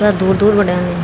कथा दूर दूर बटे अंदिन।